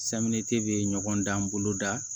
bɛ ɲɔgɔn dan boloda